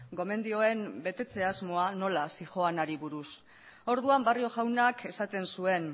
gomendioen betetze asmoa nola zihoanari buruz orduan barrio jaunak esaten zuen